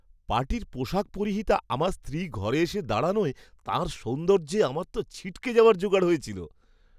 পার্টির পোশাক পরিহিতা আমার স্ত্রী ঘরে এসে দাঁড়ানোয় তাঁর সৌন্দর্যে আমার তো ছিটকে যাওয়ার জোগাড় হয়েছিল!